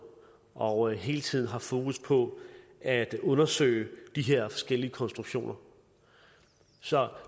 og hele tiden har fokus på at undersøge de her forskellige konstruktioner så